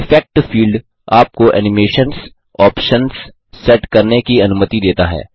effect field आपको animations options set करने की अनुमति देता है